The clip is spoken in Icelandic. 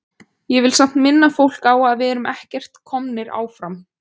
Ég vil samt minna fólk á að við erum ekkert komnir áfram.